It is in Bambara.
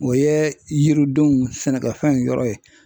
O yɛɛ yiridenw sɛnɛkɛfɛnw yɔrɔ ye.